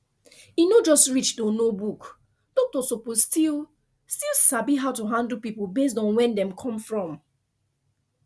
e no just reach to know book doctor suppose still still sabi how to handle people based on where dem come from